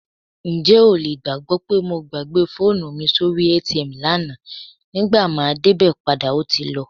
Ǹjẹ́ o lè gbàgbọ́ pé mo gbàgbé fóònù mi sórí ATM lánàá, nígbà máa débẹ̀ padà ó ti lọ?